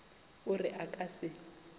o re a ka se